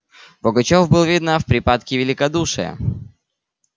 пугачёв был видно в припадке великодушия